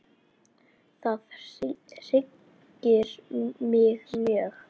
Það hryggir mig mjög.